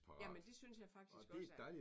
Jamen det synes jeg faktisk også er